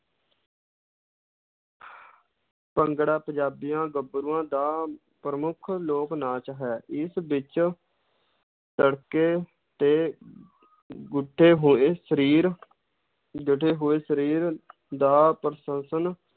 ਭੰਗੜਾ ਪੰਜਾਬੀਆਂ ਗੱਭਰੂਆਂ ਦਾ ਪ੍ਰਮੁੱਖ ਲੋਕ-ਨਾਚ ਹੈ, ਇਸ ਵਿੱਚ ਤੜਕੇ ਤੇ ਗੁੱਠੇ ਹੋਏ ਸਰੀਰ ਗੱਠੇ ਹੋਏ ਸਰੀਰ ਦਾ